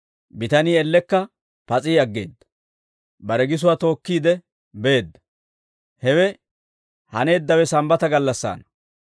Bitanii ellekka pas'i aggeedda; bare gisuwaa tookkiide beedda. Hewe haneeddawe Sambbata gallassaana.